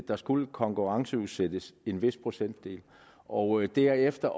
der skulle konkurrenceudsættes en vis procentdel og derefter